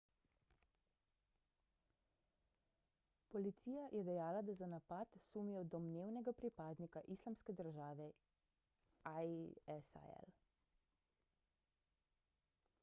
policija je dejala da za napad sumijo domnevnega pripadnika islamske države isil